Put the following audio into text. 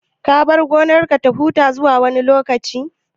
Ka bar gonarka ta huta zuwa wani lokaci?